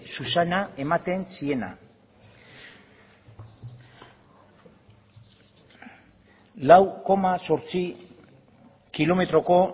zuzena ematen ziena lau koma zortzi kilometroko